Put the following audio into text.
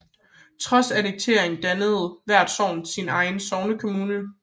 Trods annekteringen dannede hvert sogn sin egen sognekommune